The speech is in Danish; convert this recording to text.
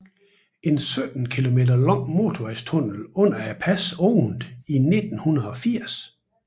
En 17 km lang motorvejstunnel under passet åbnede i 1980